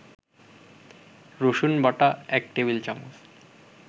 রসুনবাটা ১ টেবিল-চামচ